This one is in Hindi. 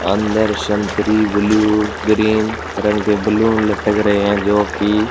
अंदर शंतरी ब्लू ग्रीन रंग के बलून लटक रहे हैं जो की--